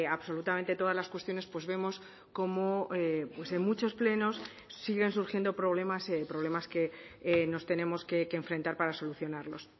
absolutamente todas las cuestiones pues vemos como en muchos plenos siguen surgiendo problemas problemas que nos tenemos que enfrentar para solucionarlos